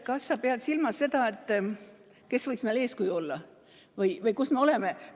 Kas sa pead silmas seda, kes võiks meile eeskujuks olla või kus me oleme?